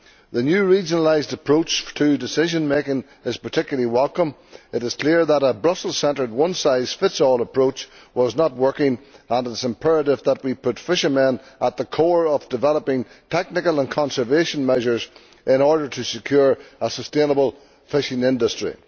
The new regionalised approach to decision making is particularly welcome. It is clear that a Brussels centred one size fits all approach was not working, and it is imperative that we put fishermen at the core of developing technical and conservation measures in order to secure a sustainable fishing industry.